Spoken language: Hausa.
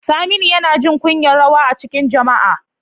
Saminu yana jin kunyar rawa a cikin jama'a.